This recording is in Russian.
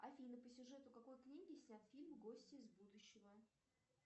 афина по сюжету какой книги снят фильм гостья из будущего